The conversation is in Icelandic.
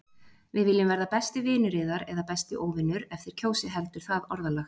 Við viljum verða besti vinur yðar- eða besti óvinur- ef þér kjósið heldur það orðalag.